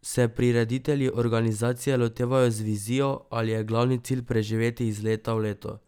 Se prireditelji organizacije lotevajo z vizijo ali je glavni cilj preživeti iz leta v leto?